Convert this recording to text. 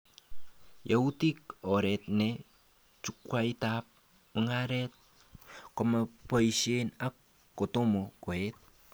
Yautik oret ne chukwaitab mugaret komaboishe ak kotomo koet